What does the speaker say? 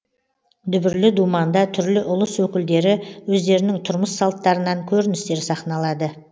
дүбірлі думанда түрлі ұлыс өкілдері өздерінің тұрмыс салттарынан көріністер сахналады